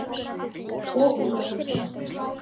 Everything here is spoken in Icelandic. Og hún verður samþykkt.